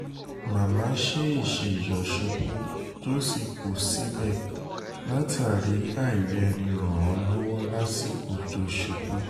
màmá ṣèèṣì yọ̀ ṣubú tó sì kù síbẹ̀ látàrí àìrí ẹni ràn án lọ́wọ́ lásìkò tó ṣubú